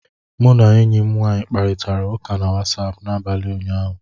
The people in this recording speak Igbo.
Mụ na enyi m nwanyị kparịtara ụka na Wasapụ n'abalị ụnyaahụ